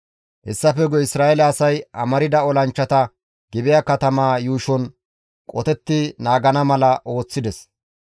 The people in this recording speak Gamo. Hessafe guye Isra7eele asay amarda olanchchata Gibi7a katamaa yuushon qotetti naagana mala ooththides.